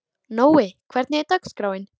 Nói, hvernig er dagskráin?